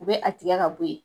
U bɛ a tigɛ ka bɔ yen.